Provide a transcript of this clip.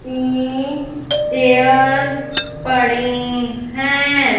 एक चेयर्स पडे है।